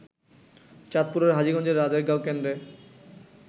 চাঁদপুরের হাজীগঞ্জের রাজারগাঁও কেন্দ্রে